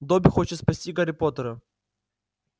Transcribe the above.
добби хочет спасти гарри поттера